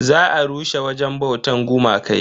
Za a rushe wajen bautan gumakai.